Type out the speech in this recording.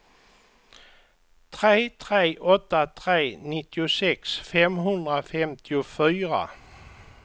tre tre åtta tre nittiosex femhundrafemtiofyra